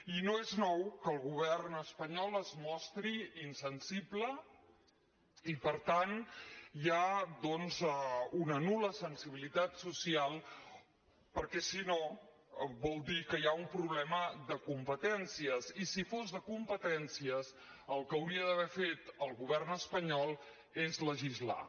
i no és nou que el govern espanyol es mostri insensible i per tant hi ha doncs una nul·la sensibilitat social perquè si no vol dir que hi ha un problema de competències i si fos de competències el que hauria d’haver fet el govern espanyol és legislar